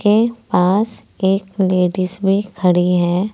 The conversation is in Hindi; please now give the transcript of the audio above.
के पास एक लेडीज़ भी खड़ी है।